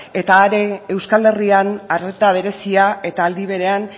eta euskal herrian arreta berezia eta aldi berean